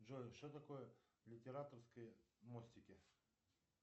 джой что такое литераторские мостики